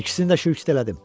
İkisini də şülük etdim.